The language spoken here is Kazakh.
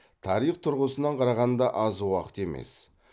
тарих тұрғысынан қарағанда аз уақыт емес